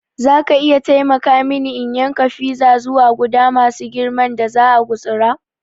Zaka iya taimaka mini in yanka fiza zuwa guda masu girman da za'a gutsura?